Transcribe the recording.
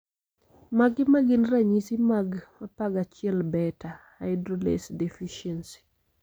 Mage magin ranyisi mag 11 beta hydroxylase deficiency